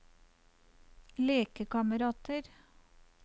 lekekamerater